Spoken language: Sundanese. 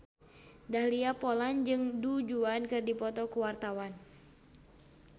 Dahlia Poland jeung Du Juan keur dipoto ku wartawan